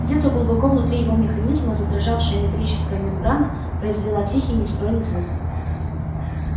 где-то глубоко внутри его механизма задрожавшая металлическая мембрана произвела тихий нестройный звук